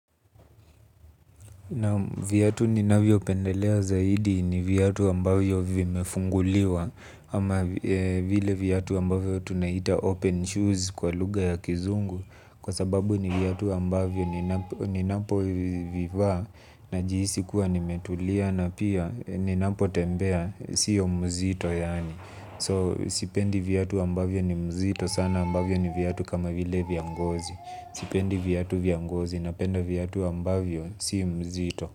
Naam viatu ninavyopendelea zaidi ni viatu ambavyo vimefunguliwa ama vile viatu ambavyo tunaita open shoes kwa lugha ya kizungu kwa sababu ni viatu ambavyo ninapovivaa najihisi kuwa nimetulia na pia ninapotembea sio mzito yaani. So sipendi viatu ambavyo ni mzito sana ambavyo ni viatu kama vile vya ngozi. Sipendi viatu vya ngozi napenda viyatu ambavyo si mzito.